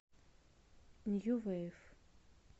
нью вейв